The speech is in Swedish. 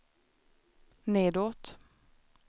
nedåt